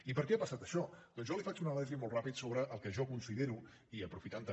i per què ha passat això doncs jo li faig una anàlisi molt ràpida sobre el que jo considero i aprofitant també